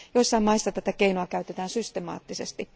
Joissain maissa tätä keinoa käytetään systemaattisesti.